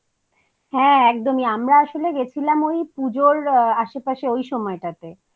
হ্যাঁ একদমই আমরা আসলে গেছিলাম ওই পুজোর আশেপাশে ওই সময়টাতে